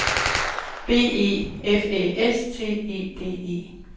B E F Æ S T E D E